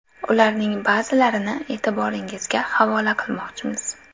Ularning ba’zilarini e’tiboringizga havola qilmoqchimiz.